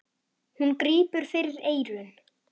Hún grípur fyrir eyrun.